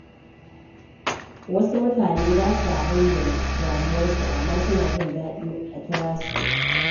Wasu mutane ba sa bayyana damuwarsu, amma suna jin daɗin a kira su.